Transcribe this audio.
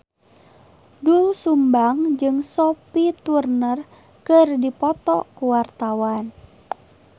Doel Sumbang jeung Sophie Turner keur dipoto ku wartawan